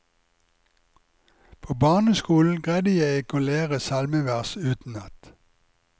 På barneskolen greide jeg ikke å lære salmevers utenat.